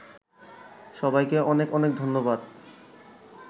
সবাইকে অনেক অনেক ধন্যবাদ